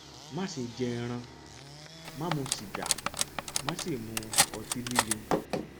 má ṣe jẹ ẹran má mu sìgá má sì mu ọtí líle